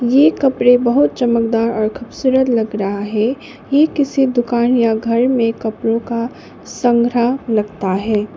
ये कपड़े बहुत चमकदार और खूबसूरत लग रहा है ये किसी दुकान या घर में कपड़ों का संग्रह लगता है।